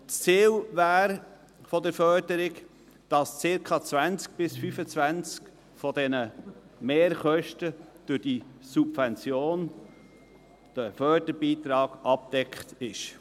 Das Ziel der Förderung wäre, dass circa 20–25 Prozent dieser Mehrkosten durch die Subvention, diesen Förderbeitrag abgedeckt sind.